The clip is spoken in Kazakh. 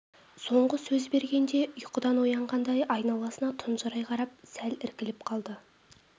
соңғы сөз бергенде ұйқыдан оянғандай айналасына тұнжырай қарап сәл іркіліп қалды